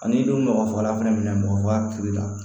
A n'i dun mɔgɔ fagala fɛnɛ mɔgɔ a kiiri la